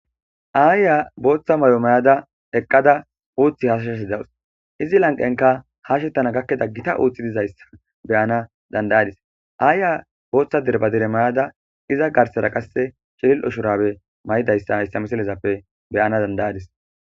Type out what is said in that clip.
aayiya booththa may'o mayadda eqqada uuththi hashashashe dawus izi lanqenkka hashettana gakidda gita uuththi dizayssa beyana dandayadis aayiya booththa derbadere mayada iza garsara qasse ciliil'o shurabe may'idayssa hayssa miisalezappe beyana danda'adis